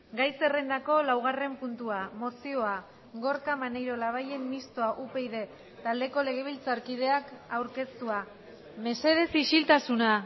gai zerrendako laugarren puntua mozioa gorka maneiro labayen mistoa upyd taldeko legebiltzarkideak aurkeztua mesedez isiltasuna